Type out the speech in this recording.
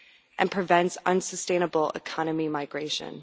and prevent unsustainable economic migration.